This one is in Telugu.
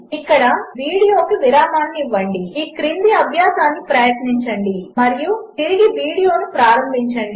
ఇక్కడవీడియోకువిరామముఇవ్వండి ఈక్రిందిఅభ్యాసమునుప్రయత్నించండిమరియుతిరిగివీడియోనుప్రారంభించండి